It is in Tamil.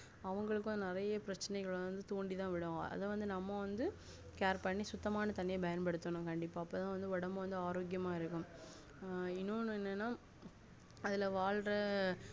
அவங்களுக்கும் நெறைய பிரச்சனைகள் தூண்டிதான் விடும் அத நம்ம வந்து care பண்ணி சுத்தமான தண்ணி பண்யன்படுத்தனும் கண்டிப்பா அபோதான் ஒடம்பு ஆரோக்கியமா இருக்கம் ஆஹ் இன்னொன்னு என்னனா அதுல வாழ்ற